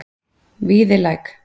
Víðilæk